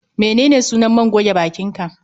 Menene sunan man goge bakin ka?